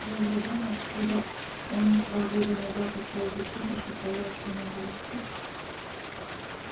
возле дома откуда он два года назад ушёл в училище коля остановился